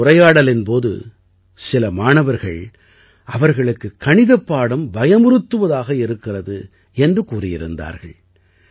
இந்த உரையாடலின் போது சில மாணவர்கள் அவர்களுக்குக் கணிதப் பாடம் பயமுறுத்துவதாக இருக்கிறது என்று கூறியிருந்தார்கள்